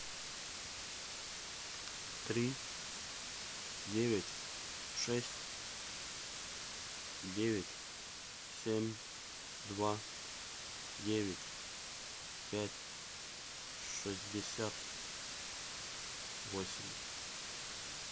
три девять шесть девять семь два девять пять шестьдесят восемь